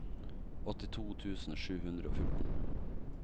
åttito tusen sju hundre og fjorten